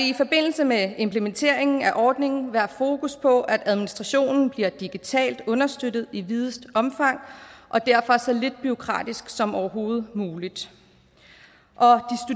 i forbindelse med implementeringen af ordningen være fokus på at administrationen bliver digitalt understøttet i videst omfang og derfor så lidt bureaukratisk som overhovedet muligt